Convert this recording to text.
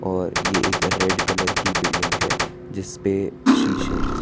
और ये एक रेड कलर की बिल्डिंग है जिस पे शीशे हैं।